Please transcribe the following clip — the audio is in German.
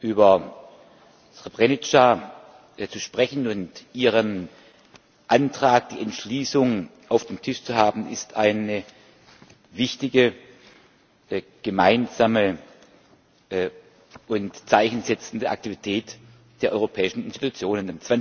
Über Srebrenica zu sprechen und über Ihren Antrag, die Entschließung auf dem Tisch zu haben, ist eine wichtige, gemeinsame und Zeichen setzende Aktivität der europäischen Institutionen.